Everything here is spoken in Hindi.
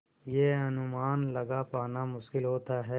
यह अनुमान लगा पाना मुश्किल होता है